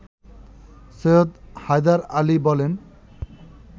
সৈয়দ হায়দার আলী বলেন